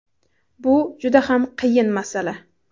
Bu juda ham qiyin masala.